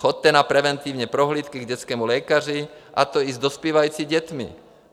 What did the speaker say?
Choďte na preventivní prohlídky k dětskému lékaři, a to i s dospívajícími dětmi.